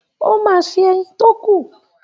O máa se ẹyin tó kù.